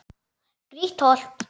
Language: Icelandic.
Grýtt holt.